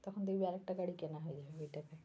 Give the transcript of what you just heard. তখন দেখবি আর একটা গাড়ি কেনা হয়ে যাবে ওই টাকায়।